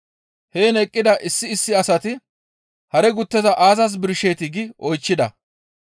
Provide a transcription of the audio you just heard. Heen eqqida issi issi asati, «Hare gutteza aazas birsheetii?» gi oychchida.